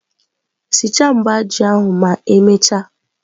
Sichaa mba ji ahụ ma emechaa.